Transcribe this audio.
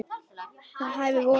Það hæfir vorinu.